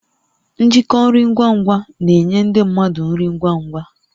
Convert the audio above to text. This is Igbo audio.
Njikọ nri ngwa ngwa na-enye ndị mmadụ nri ngwa ngwa